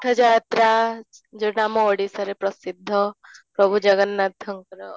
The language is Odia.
ରଥଯାତ୍ରା ଯୋଉଟା ଆମ ଓଡ଼ିଶାର ପ୍ରସିଦ୍ଧ ପ୍ରଭୁ ଜଗନ୍ନାଥଙ୍କର